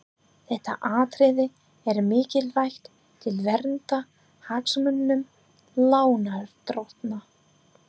Þetta atriði er mikilvægt til verndar hagsmunum lánardrottna.